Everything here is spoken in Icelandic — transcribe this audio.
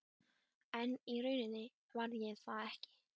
En í rauninni var ég það ekki.